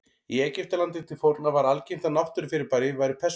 Í Egyptalandi til forna var algengt að náttúrufyrirbæri væru persónugerð.